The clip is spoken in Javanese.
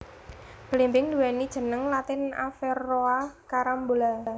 Blimbing nduwéni jeneng latin Averrhoa Carambola